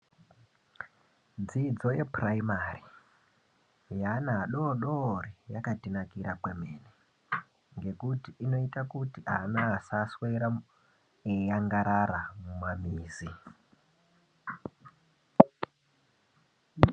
Dzidzo yepuraimari yaana adodori yakatinakira kwemene ngekuti inoita kuti ana asaswera eiagarara mumamizi.